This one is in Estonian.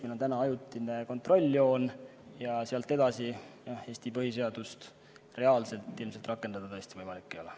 Meil on täna ajutine kontrolljoon ja selle taga asuval alal Eesti põhiseadust reaalselt ilmselt rakendada tõesti võimalik ei ole.